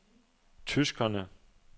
tyskerne